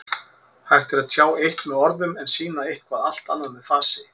Hægt er að tjá eitt með orðum en sýna eitthvað allt annað með fasi.